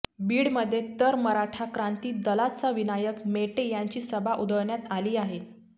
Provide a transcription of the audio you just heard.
बीडमध्ये तर मराठा क्रांती दलाचे विनायक मेटे यांची सभा उधळण्यात आली आहे